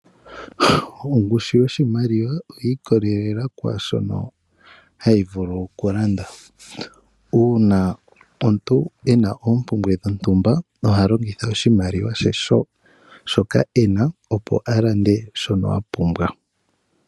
Ongushu yoshimaliwa oyi ikolelela kwaashono hashi vulu okulanda. Uuna omuntu ena oompumbwe dhontumba oha longitha oshimaliwa she shoka ena opo a lande shono apumbwa.